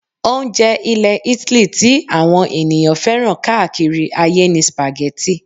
Oúnjẹ ilẹ̀ Italy ti àwọn ènìyàn fẹ́ràn káàkiri ayé ni Spaghetti